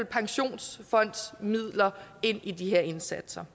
pensionsfondsmidler ind i de her indsatser